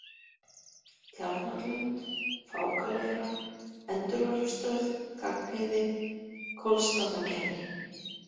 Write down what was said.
Tjarnarlönd, Fákaleira, Endurvarpsstöð Gagnheiði, Kollsstaðagerði